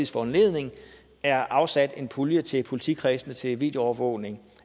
foranledning er afsat en pulje til politikredsene til videoovervågning